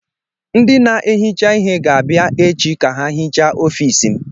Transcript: Ndị na-ehicha ihe ga-abịa echi ka ha hichaa ọfiisi m.